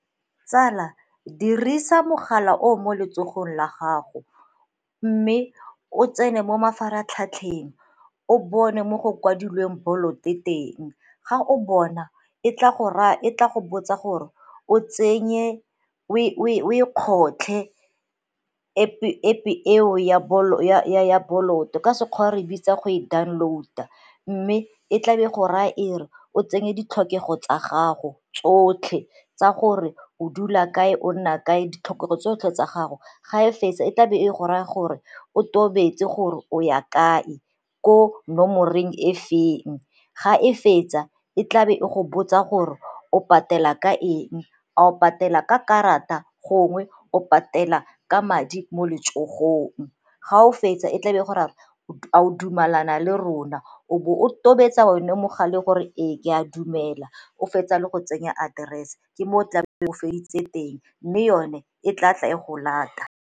Tsala dirisa mogala o o mo letsogong la gago mme o tsene mo mafaratlhatlheng o bone mo go kwadilweng Bolt-o teng, ga o bona e tla go botsa gore o e kgotlha App-e eo ya Bolt-o ya ka Sekgowa re e bitsa go e download-a mme e tlabe e go raya e re o tsenye ditlhokego tsa gago tsotlhe tsa gore o dula kae, o nna kae, ditlhokego tsotlhe tsa gago. Ga e fetsa e tlabe e go raya gore o tobetse gore o ya kae, ko nomorenh e feng, ga e fetsa e tlabe e go botsa gore o patela ka eng, a o patela ka karata gongwe o patela ka madi mo letsogong. Ga o fetsa e tlabe e go raya gore a o dumelana le rona, o bo o tobetsa one mogare gore ee ke a dumela, o fetsa le go tsenya aterese ke mo o tlabe re feditse teng, mme yone e tla tla e go lata.